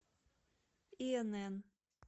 инн